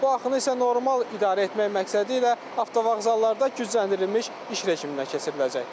Bu axını isə normal idarə etmək məqsədilə avtovağzallarda gücləndirilmiş iş rejiminə keçiriləcək.